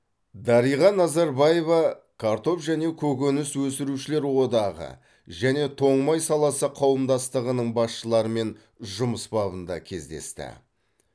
дариға назарбаева картоп және көкөніс өсірушілер одағы және тоң май саласы қауымдастығының басшыларымен жұмыс бабында кездесті